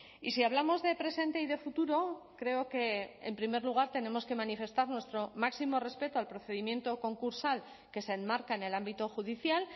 y si hablamos de presente y de futuro creo que en primer lugar tenemos que manifestar nuestro máximo respeto al procedimiento concursal que se enmarca en el ámbito judicial